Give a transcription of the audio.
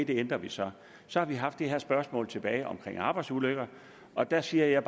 det ændrer vi så så har vi haft det her spørgsmål tilbage om arbejdsulykker og der siger jeg